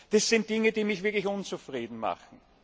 Das sind Dinge, die mich wirklich unzufrieden machen.